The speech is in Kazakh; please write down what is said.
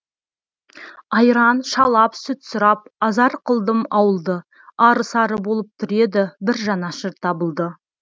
айран шалап сүт сұрап азар қылдым ауылды ары сары болып тұр еді бір жанашыр табылды